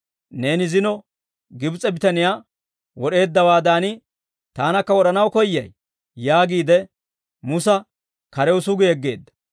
Neeni zino Gibs'e bitaniyaa wod'eeddawaadan, taanakka wod'anaw koyyay?› yaagiide, Musa karew sugi yegeedda.